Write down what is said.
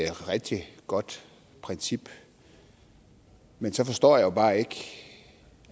et rigtig godt princip men så forstår jeg bare ikke